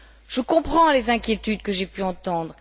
Je comprends les inquiétudes que j'ai pu entendre.